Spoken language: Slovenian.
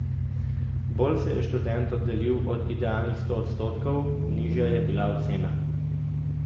Bolj se je študent oddaljil od idealnih sto odstotkov, nižja je bila ocena.